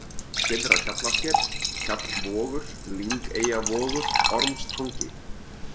Syðra-Hjallasker, Hjallvogur, Lyngeyjavogur, Ormstangi